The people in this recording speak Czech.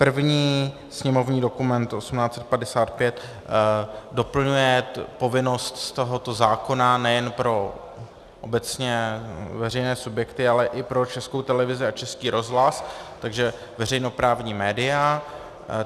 První, sněmovní dokument 1855, doplňuje povinnost z tohoto zákona nejen pro obecně veřejné subjekty, ale i pro Českou televizi a Český rozhlas, tedy veřejnoprávní média.